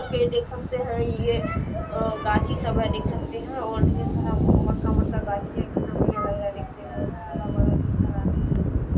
देख सकते है ये गाछी सब है देख सकते है और ढेर सारा मोटका-मोटका गाछी है कितना बढ़िया लग रहा है देखने में उधर हरा-भरा ढेर सारा आदमी भी है।